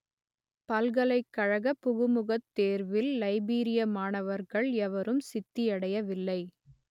பல்கலைக்கழக புகுமுகத் தேர்வில் லைபீரிய மாணவர்கள் எவரும் சித்தியடையவில்லை